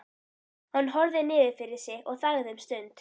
Hann horfði niður fyrir sig og þagði um stund.